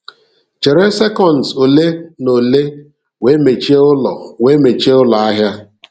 Chere sekọnds ole na ole wee mechie ụlọ wee mechie ụlọ ahịa.